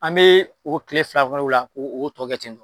An bɛ o tile fila o la o bɛ o bɛ tɔ kɛ ten tɔn